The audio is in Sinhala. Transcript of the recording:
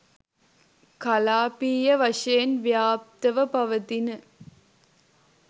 කලාපීය වශයෙන් ව්‍යාප්තව පවතින